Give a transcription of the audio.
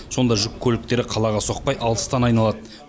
сонда жүк көліктері қалаға соқпай алыстан айналады